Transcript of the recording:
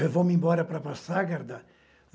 Vamos embora para Passagarda.